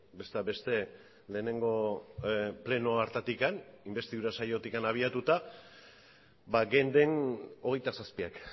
besteak beste lehenengo pleno hartatik inbestidura saiotik abiatuta geunden hogeita zazpiak